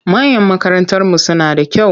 Mayan makarantarmu suna da kyau.